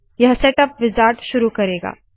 यह setup wizard शुरू करेगा